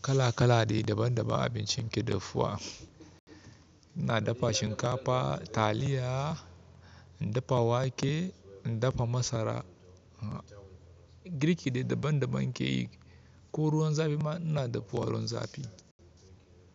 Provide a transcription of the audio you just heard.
Kala kala dai daban daban abincin ke dafuwa. Ina dafa shinkafa, taliya, in dafa wake, in dafa masara, girki dai daban daban nake yi. Ko ruwan zafi ma ina dafuwa ruwan zafi.